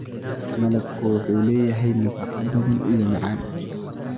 Malabka waxa uu leeyahay nafaqooyin badan waana macaan.